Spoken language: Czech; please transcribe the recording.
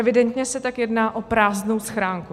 Evidentně se tak jedná o prázdnou schránku.